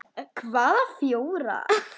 Hvaða fjórar?